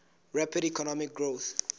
rapid economic growth